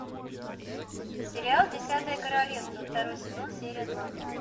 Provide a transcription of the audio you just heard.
сериал десятое королевство второй сезон серия два